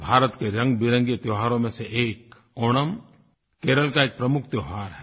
भारत के रंगबिरंगे त्योहारों में से एक ओणम केरल का एक प्रमुख त्योहार है